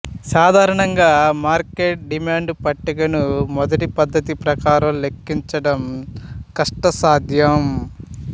సాధారణంగా market demand పట్టికను మొదటి పద్ధతి ప్రకారం లెక్కించడం కష్టసాధ్యం